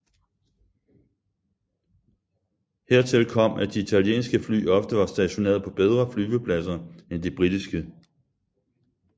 Hertil kom at de italienske fly ofte var stationeret på bedre flyvepladser end de britiske